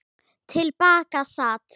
Til baka sat